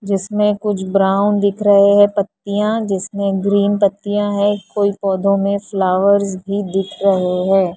जिसमें कुछ ब्राउन दिख रहे हैं पत्तियाँ जिसमें ग्रीन पत्तियाँ है कोई पौधों में फ्लावर्स भी दिख रहे हैं।